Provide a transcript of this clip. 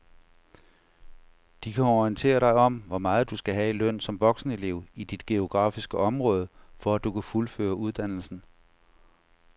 De kan orientere dig om hvor meget du skal have i løn som voksenelev i dit geografiske område, for at du kan fuldføre uddannelsen.